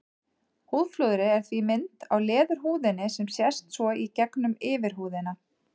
Húðflúrið er því mynd á leðurhúðinni sem sést svo í gegnum yfirhúðina.